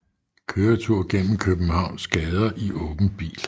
Køretur gennem Københavns gader i åben bil